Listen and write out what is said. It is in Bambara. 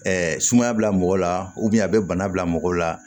sumaya bila mɔgɔ la a bɛ bana bila mɔgɔ la